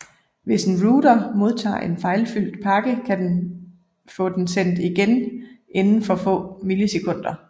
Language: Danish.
Hvis en router modtager en fejlfyldt pakke kan den få den sendt igen inden for få millisekunder